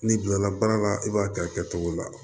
N'i bilala baara la i b'a kɛ a kɛcogo la